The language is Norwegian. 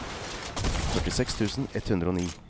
førtiseks tusen ett hundre og ni